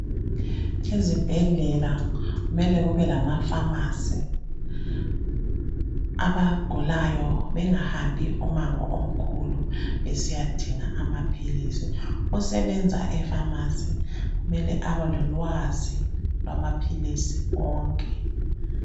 ezibhedlela kumele kube lama phamarcy abagulayo bengahambi umango omkhulu besiyadinga amaphilisi osebenza e phamarcy kumele abe lolwazi lwamaphilisi wonke